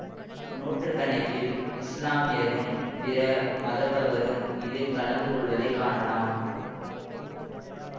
நூற்று கணக்கில் இசுலாமியரும் பிற மதத்தவரும் இதில் கலந்து கொள்வதை காணலாம்